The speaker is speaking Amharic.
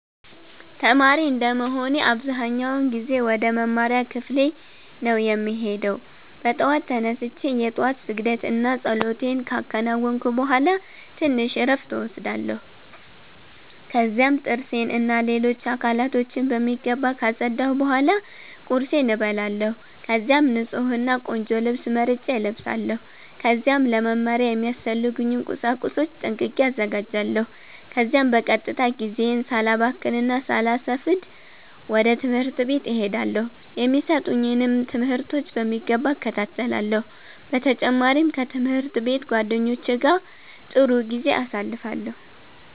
ተማሪ እንደመሆኔ አብዛኛውን ጊዜ ወደ መማሪያ ክፍሌ ነው የምሄደው። በጠዋት ተነስቼ የ ጧት ስግደት እና ፀሎቴን ካከናወንኩ ቡሃላ ትንሽ እረፍት እወስዳለሁ። ከዚያም ጥርሴን እና ሌሎች አካሎቼን በሚገባ ካፀዳሁ ቡሃላ ቁርሴን እበላለሁ። ከዚያም ንፁህ እና ቆንጆ ልብስ መርጬ እለብሳለው። ከዚያም ለ መማሪያ የሚያስፈልጉኝን ቁሳቁሶች ጠንቅቄ አዘጋጃለሁ። ከዚያም በቀጥታ ጊዜዬን ሳላባክን እና ሳላሰፍድ ወደ ትምህርት ቤት እሄዳለው። የሚሰጡኝንም ትምህርቶች በሚገባ እከታተላለሁ። በ ተጨማሪም ከ ትምህርት ቤት ጓደኞቼ ጋ ጥሩ ጊዜ አሳልፋለሁ።